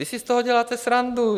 Vy si z toho děláte srandu.